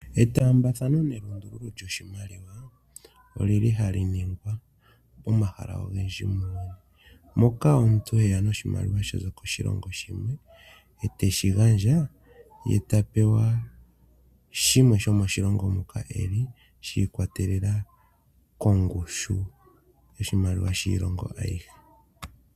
Etaambathano nenge enduluko lyoshimaliwa olili hali ningwa komahala ogendji muuyuni, moka omuntu heya noshimaliwa shaza koshilongo shimwe eteshi gandja ye tapewa shimwe shomoshilongo moka eli, shiikwatelela kongushu yoshimaliwa shillongo ayihe.